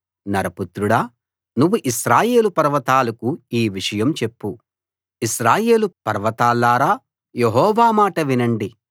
నరపుత్రుడా నువ్వు ఇశ్రాయేలు పర్వతాలకు ఈ విషయం చెప్పు ఇశ్రాయేలు పర్వతాల్లారా యెహోవా మాట వినండి